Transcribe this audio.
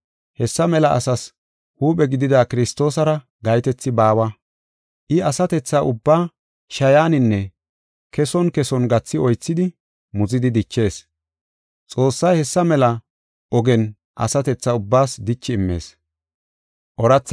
Hessa mela asaas huuphe gidida Kiristoosara gahetethi baawa. I asatethaa ubbaa shayaninne keson keson gathi oythidi muzidi dichees. Xoossay hessa mela ogen asatethaa ubbaas dichi immees.